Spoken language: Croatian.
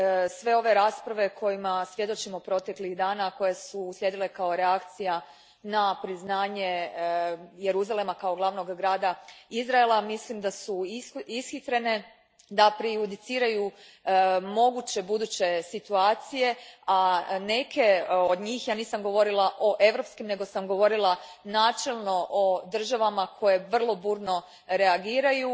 Sve ove rasprave kojima svjedočimo proteklih dana koje su uslijedile kao reakcija na priznanje Jeruzalema kao glavnog grada Izraela mislim da su ishitrene, da prejudiciraju moguće buduće situacije, a neke od njih, nisam govorila o europskim nego sam govorila načelno o državama koje vrlo burno reagiraju,